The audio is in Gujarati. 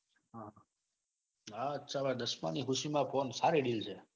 આ અચ્છા ભાઈ દસમાની ખુશીમાં phone સારી deal છે. .